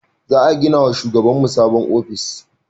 Za gina ma shugaban mu sabon ofis